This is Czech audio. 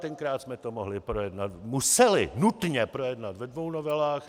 Tenkrát jsme to mohli projednat - museli nutně projednat ve dvou novelách.